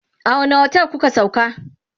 a wani otel kuka sauka?